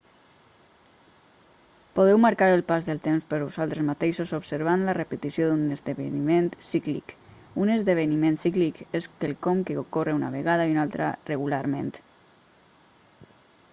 podeu marcar el pas del temps per vosaltres mateixos observant la repetició d'un esdeveniment cíclic un esdeveniment cíclic és quelcom que ocorre una vegada i una altra regularment